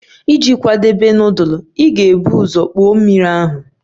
Iji kwadebe nudulu, ị ga-ebu ụzọ kpoo mmiri ahụ.